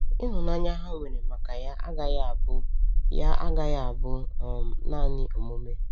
Ịhụnanya ha nwere maka ya agaghị abụ ya agaghị abụ um naanị omume.